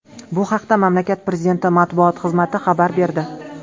Bu haqda mamlakat prezidenti matbuot xizmati xabar berdi .